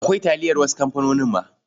Akwai taliyar wasu kamfanonin ma.